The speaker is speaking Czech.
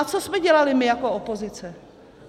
A co jsme dělali my jako opozice?